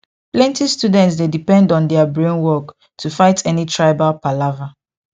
plenty students dey depend on their brain work to fight any tribal palava